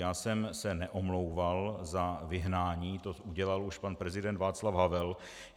Já jsem se neomlouval za vyhnání, to udělal už pan prezident Václav Havel.